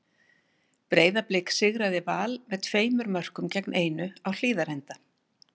Breiðablik sigraði Val með tveimur mörkum gegn einu á Hlíðarenda.